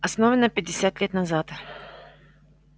основана пятьдесят лет назад